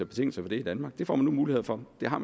betingelser for det i danmark det får man nu mulighed for det har